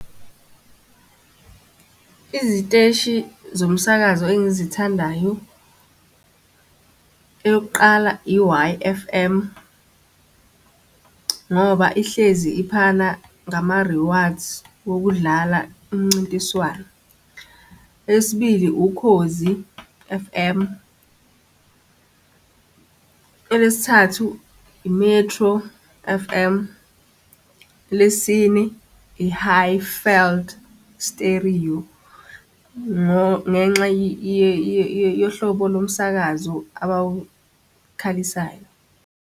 Iziteshi zomsakazo engizithandayo, eyokuqala, i-Y_F_M, ngoba ihlezi iphana ngama-rewards wokudlala imncintiswano. Eyesibili Ukhozi F_M. Elesithathu i-Metro F_M. Elesine, i-Highveld Stereo, ngenxa yohlobo lomsakazo abawukhalisayo.